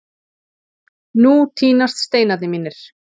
Nú tínast steinarnir mínir.